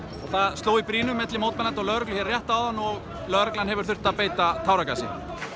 það sló í brýnu milli mótmælenda og lögregla hérna rétt áðan og lögregla hefur þurft að beita táragasi